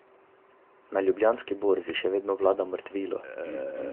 Na Ljubljanski borzi še vedno vlada mrtvilo.